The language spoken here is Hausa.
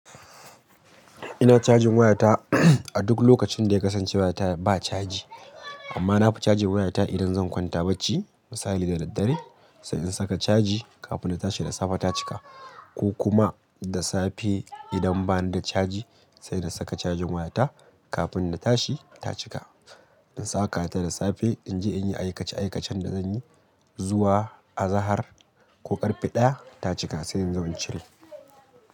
Ina cajin wayata a duk lokacin da ya kasance wayata ba caji. Amma nafi caji wayata idan zan kwanta bacci. Misali da daddare sai in saka caji kafin na tashi da safe ta cika. Ko kuma da safe idan bani da caji sai na saka cajin wayata kafin na tashi ta cika. In saka ta da safe inje in yi aykace aykacen da zanyi zuwa azahar ko karfe ɗaya ta cika sai in zo in cire.